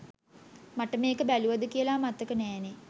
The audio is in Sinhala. මට මෙක බැලුවද කියලා මතක නැනේ